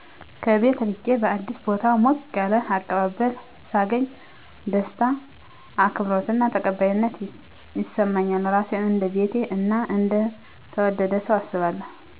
ከቤት ርቄ በአዲስ ቦታ ሞቅ ያለ አቀባበል ሳገኝ ደስታ፣ አክብሮት እና ተቀባይነት ይሰማኛል። ራሴን እንደ ቤቴ እና እንደ ተወደደ ሰው አስባለሁ።